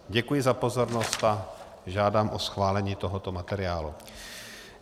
Děkuji za pozornost a žádám o schválení tohoto materiálu.